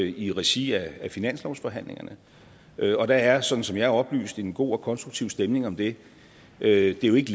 i regi af finanslovsforhandlingerne og der er sådan som jeg er oplyst en god og konstruktiv stemning om det det er jo ikke